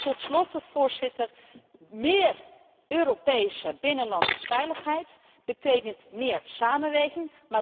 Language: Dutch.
Tot slot, Voorzitter, meer Europese binnenlandse veiligheid betekent meer samenwerking.